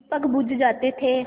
दीपक बुझ जाते थे